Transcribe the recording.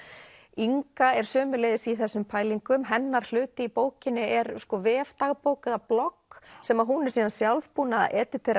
Inga er sömuleiðis í þessum pælingum hennar hluti í bókinni er sko vefdagbók eða blogg sem hún er síðan sjálf búin að